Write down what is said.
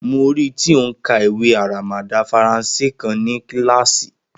Mo rí i tí ó ń ka ìwé aramada Faransé kan ní kíláàsì.